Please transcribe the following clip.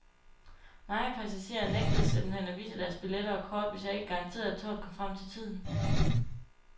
Mange passagerer nægtede simpelt hen at vise deres billetter og kort, hvis jeg ikke garanterede, at toget kom frem til tiden.